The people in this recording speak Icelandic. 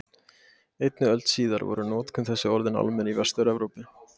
Einni öld síðar var notkun þess orðin almenn í Vestur-Evrópu.